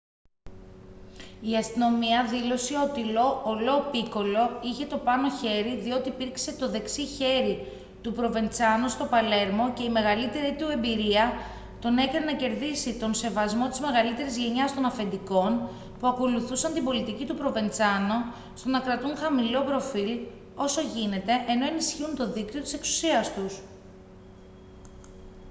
η αστυνομία δήλωσε ότι ο λο πίκολο είχε το πάνω χέρι διότι υπήρξε το δεξί χέρι του προβεντσάνο στο παλέρμο και η μεγαλύτερη του εμπειρία τον έκανε να κερδίσει τον σεβασμό της μεγαλύτερης γενιάς των αφεντικών που ακολουθούσαν την πολιτική του προβεντσάνο στο να κρατούν χαμηλό προφίλ όσο γίνεται ενώ ενισχύουν το δίκτυο της εξουσίας τους